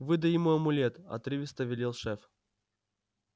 выдай ему амулет отрывисто велел шеф